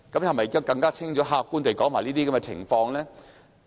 可否更清楚、客觀地指出這些情況？